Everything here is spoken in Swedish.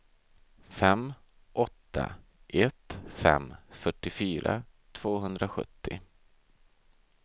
fem åtta ett fem fyrtiofyra tvåhundrasjuttio